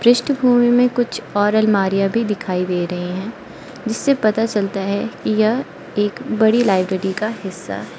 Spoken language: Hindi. पृष्ठभूमि में कुछ और अलमारियां भी दिखाई दे रहे हैं जिससे पता चलता है कि यह एक बड़ी लाइब्रेरी का हिस्सा --